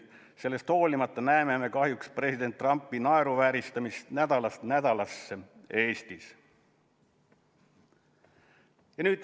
Sellele vaatamata näeme me kahjuks president Trumpi naeruvääristamist nädalast nädalasse ka Eestis.